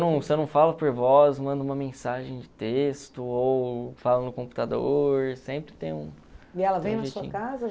Se eu não falo por voz, mando uma mensagem de texto ou falo no computador, sempre tem um... E ela veio na sua casa?